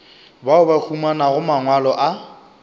bao ba humanago mangwalo a